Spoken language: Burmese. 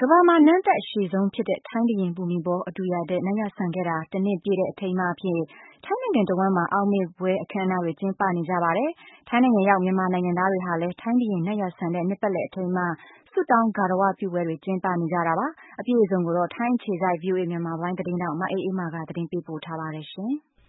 ကမ္ဘာမှာ နန်းသက်အရှည်ဆုံး ဖြစ်ခဲ့တဲ့ ထိုင်းဘုရင် ဘူမိဘော အဒူယာဒက် နတ်ရွာစံခဲ့တာ တနှစ်ပြည့်တဲ့ အထိမ်းအမှတ်အဖြစ် ထိုင်းနိုင်ငံတဝှမ်းမှာ အောက်မေ့ပွဲ အခန်းအနားတွေ ကျင်းပနေကြပါတယ်။ ထိုင်းနိုင်ငံရောက် မြန်မာနိုင်ငံသားတွေဟာလည်း ထိုင်းဘုရင်နတ်ရွာစံတဲ့ နှစ်ပတ်လည် အထိမ်းအမှတ် ဆုတောင်းဂါရဝပြုပွဲတွေ ကျင်းပနေကြတာပါ။ အပြည့်အစုံကိုတော့ ထိုင်းအခြေစိုက် ဗွီအိုအေ မြန်မာပိုင်းသတင်းထောက် မအေးအေးမာ ကသတင်းပေးပို့ ထားပါတယ်။